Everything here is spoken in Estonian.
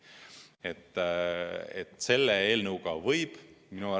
Jah, selle eelnõuga võib välja tulla.